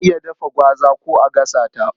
Ana iya dafa gwaza ko a gasa ta.